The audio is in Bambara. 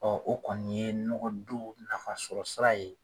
o kɔni ye nɔgɔdon nafasɔrɔ sira ye